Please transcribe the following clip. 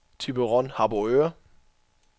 Thyborøn-Harboøre